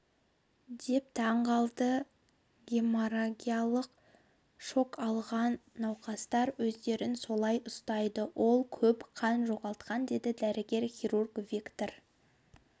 деп таңғалды геморрагиялық шок алған науқастар өздерін солай ұстайды ол көп қан жоғалтқан деді дәрігер-хирург виктор